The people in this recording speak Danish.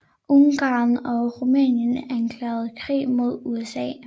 Ungarn og Rumænien erklærer krig mod USA